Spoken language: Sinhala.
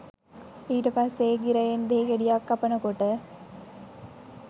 ඊට පස්සේ ඒ ගිරයෙන් දෙහි ගෙඩියක් කපන කොට